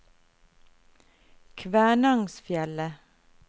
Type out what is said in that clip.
Kvænangsfjellet